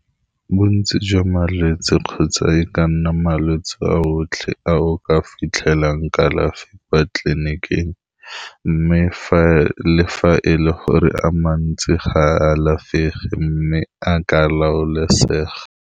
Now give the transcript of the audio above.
Bontsi jwa malwetsi kgotsa e ka nna malwetse a otlhe a o ka fitlhelang kalafi kwa tleliniking, mme fa e le gore a mantsi ga a alafege mme a ka laolesega.